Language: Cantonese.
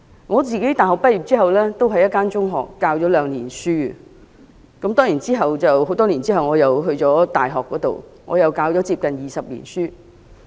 我大學畢業後曾在一所中學任教兩年，當然多年後，我到大學任教，至今已接近20年。